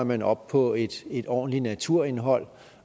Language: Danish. man oppe på et et ordentligt naturindhold